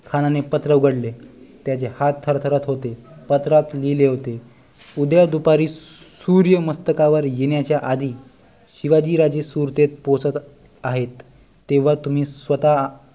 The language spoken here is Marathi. खानाने पत्र उघडले त्याचे हात थरथरत होते पत्रात लिहिले होते उद्या दुपारी सूर्य मस्तकावर येण्याच्या आधी शिवाजी राजे सुरतेत पोहचत आहेत तेव्हा तुम्ही स्वतः